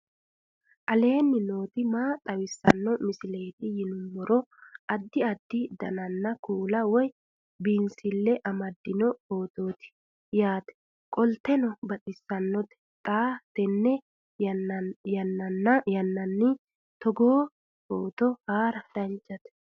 aleenni nooti maa xawisanno misileeti yinummoro addi addi dananna kuula woy biinsille amaddino footooti yaate qoltenno baxissannote xa tenne yannanni togoo footo haara danvchate